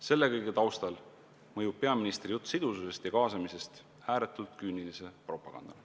Selle kõige taustal mõjub peaministri jutt sidususest ja kaasamisest ääretult küünilise propagandana.